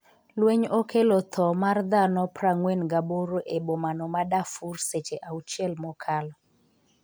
lweny okelo tho mar dhano 48 e bomano ma Darfur seche auchiel mokalo